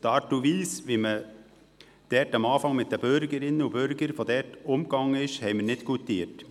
Die Art und Weise, wie man am Anfang mit den Bürgerinnen und Bürgern umging, haben wir nicht goutiert.